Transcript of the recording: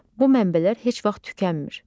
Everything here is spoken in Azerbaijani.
Bu mənbələr heç vaxt tükənmir.